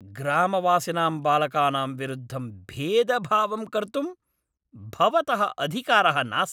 ग्रामवासिनां बालकानां विरुद्धं भेदभावं कर्तुं भवतः अधिकारः नास्ति